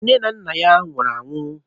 Nne na nna ya nwụrụ anwụ.